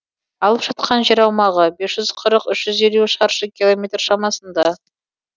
алып жатқан жер аумағы бес жүз қырық үш жүз елу шаршы километр шамасында